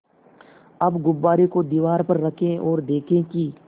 अब गुब्बारे को दीवार पर रखें ओर देखें कि